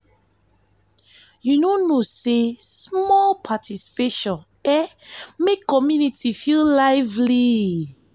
you no know sey small participation fit make community feel lively.